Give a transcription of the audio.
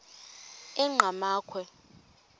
enqgamakhwe